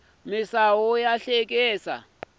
misawu ya haxeka sanhwi